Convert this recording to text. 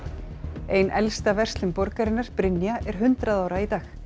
ein elsta verslun borgarinnar Brynja er hundrað ára í dag